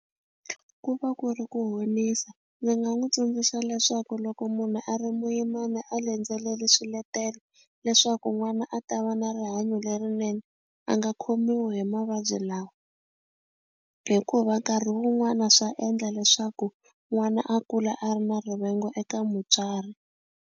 Ku va ku ri ku honisa ni nga n'wu tsundzuxa leswaku loko munhu a ri muyimani a landzeleli swiletelo leswaku n'wana a ta va na rihanyo lerinene a nga khomiwi hi mavabyi lawa hikuva nkarhi wun'wana swa endla leswaku n'wana a kula a ri na rivengo eka mutswari.